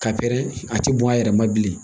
Ka pɛrɛn a tɛ bɔn a yɛrɛ ma bilen